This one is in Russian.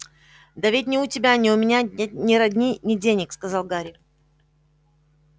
да ведь ни у тебя ни у меня нет ни родни ни денег сказал гарри